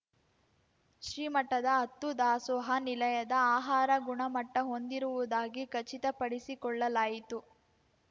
ಶ್ರೀ ಮಠದ ಹತ್ತೂ ದಾಸೋಹ ನಿಲಯದ ಆಹಾರ ಗುಣಮಟ್ಟಹೊಂದಿರುವುದಾಗಿ ಖಚಿತ ಪಡಿಸಿಕೊಳ್ಳಲಾಯಿತು